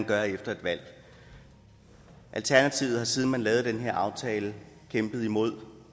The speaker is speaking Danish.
gøre efter et valg alternativet har siden man lavede den her aftale kæmpet imod